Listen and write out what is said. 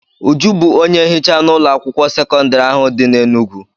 Uju bụ onye nhicha n'ụlọ akwụkwọ sekọndrị ahụ dị n'Enugwu.